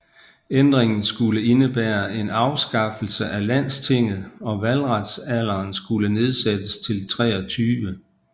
Ændringen skulle indebære en afskaffelse af landstinget og valgretsalderen skulle nedsættes til 23